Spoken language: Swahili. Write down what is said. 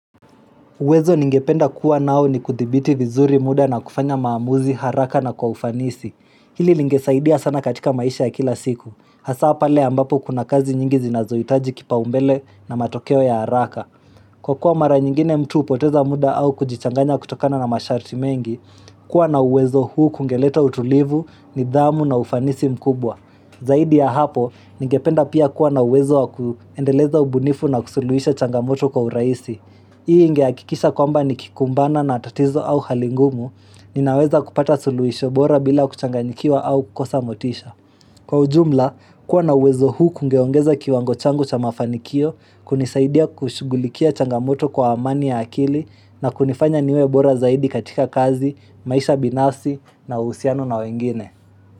Uwezo ningependa kuwa nao ni kuthibiti vizuri muda na kufanya maamuzi haraka na kwa ufanisi. Hili lingesaidia sana katika maisha ya kila siku. Hasa pale ambapo kuna kazi nyingi zinazohitaji kipaumbele na matokeo ya haraka. Kwa kuwa mara nyingine mtu hupoteza muda au kujichanganya kutokana na masharti mengi, kuwa na uwezo huu kungeleta utulivu nidhamu na ufanisi mkubwa. Zaidi ya hapo ningependa pia kuwa na uwezo wa kuendeleza ubunifu na kusuluhisha changamoto kwa urahisi. Hii ingehakikisha kwamba ni kikumbana na tatizo au hali ngumu, ninaweza kupata tuluhisho bora bila kuchanganyikiwa au kukosa motisha. Kwa ujumla, kuwa na wezo huu kungeongeza kiwango changu cha mafanikio, kunisaidia kushughulikia changamoto kwa amani ya akili na kunifanya niwe bora zaidi katika kazi, maisha binafsi na uhusiano na wengine.